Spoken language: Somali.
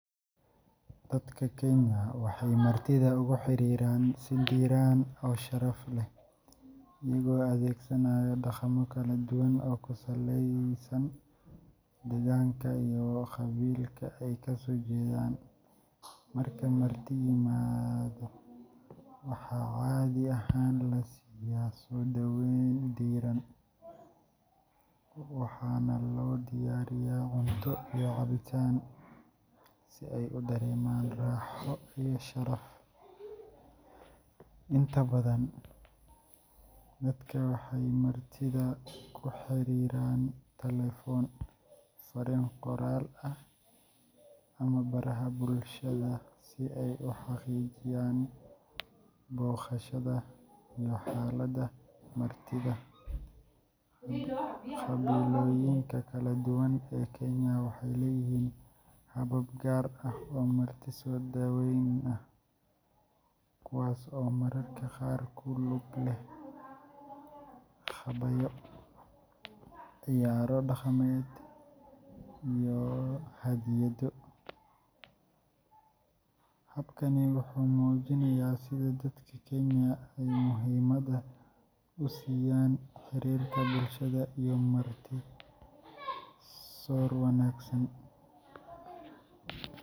Dadka Kenya waxay martida ugu xiriiraan si diiran oo sharaf leh, iyagoo adeegsanaya dhaqammo kala duwan oo ku saleysan deegaanka iyo qabiilka ay ka soo jeedaan. Marka marti yimaado, waxaa caadi ahaan la siiyaa soo dhaweyn diiran, waxaana loo diyaariyaa cunto iyo cabitaan, si ay u dareemaan raaxo iyo sharaf. Inta badan, dadka waxay martida ku xiriiraan taleefan, fariin qoraal ah, ama baraha bulshada si ay u xaqiijiyaan booqashada iyo xaaladda martida. Qabiilooyinka kala duwan ee Kenya waxay leeyihiin habab gaar ah oo marti soo dhaweyn ah, kuwaas oo mararka qaar ku lug leh gabayo, ciyaaro dhaqameed, iyo hadiyado. Habkani wuxuu muujinayaa sida dadka Kenya ay muhiimadda u siiyaan xiriirka bulshada iyo marti soor wanaagsan.